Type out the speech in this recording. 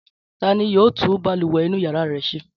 Ta ni yóò tún balùwẹ̀ inú ìyàrá rẹ ṣe?